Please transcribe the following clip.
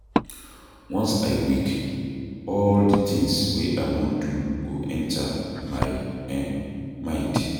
Once I wake, all di tins wey I wan do go enta my um mind.